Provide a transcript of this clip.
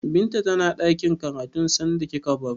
Binta tana ɗakin karatun sanda kika baro?